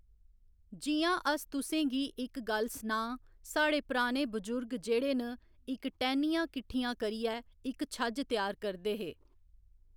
जि'यां अस तुसें गी इक गल्ल सनांऽ साढ़े पराने बजुर्ग जेह्ड़े न इक टैह्‌नियां किट्ठियां करियै इक छज्ज त्यार करदे हे।